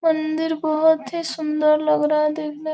मंदिर बहुत ही सुंदर लग रहा है देखने --